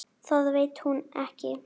Það veit hún ekki.